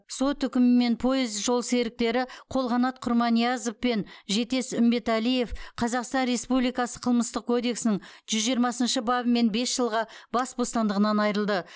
сот үкімімен пойыз жолсеріктері қолқанат құрманиязов пен жетес үмбетәлиев қазақстан республикасы қылмыстық кодексінің жүз жиырмасыншы бабымен бес жылға бас бостандығынан айырылды